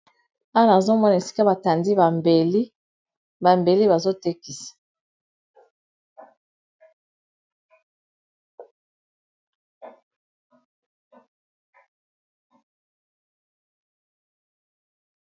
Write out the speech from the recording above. Awa nazomona esika batandi bambel, bambeli bazo tekisa.